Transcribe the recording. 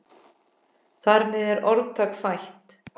Þar með er orðtak fætt.